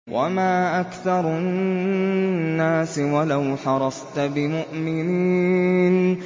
وَمَا أَكْثَرُ النَّاسِ وَلَوْ حَرَصْتَ بِمُؤْمِنِينَ